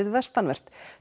vestanvert